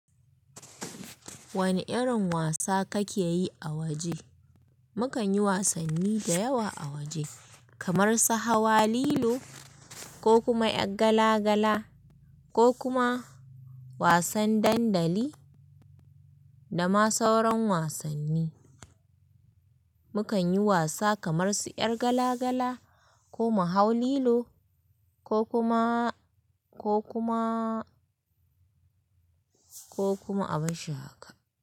Wane irin wasa kake yi a waje? Mukan yi wasanni da yawa a waje, kamar su hawa lilo, ko kuma 'yar gala gala, ko kuma wasan dandali da ma sauran wasanni. Mukan yi wasa kamar su 'yar gala gala ko mu hau lilo ko kuma, ko kuma, ko kuma abin shaka.